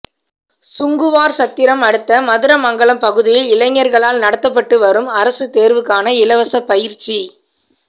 சுங்குவாா்சத்திரம் அடுத்த மதுரமங்கலம் பகுதியில் இளைஞா்களால் நடத்தப்பட்டு வரும் அரசுத்தோ்வுக்கான இலவச பயிற்சி